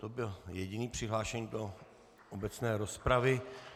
To byl jediný přihlášený do obecné rozpravy.